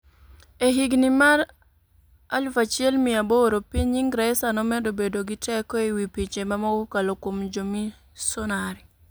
E higini mag 1800, piny Ingresa nomedo bedo gi teko e wi pinje mamoko kokalo kuom jomisonari.